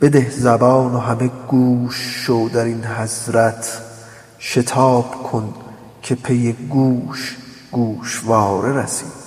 بده زبان و همه گوش شو در این حضرت شتاب کن که پی گوش گوشواره رسید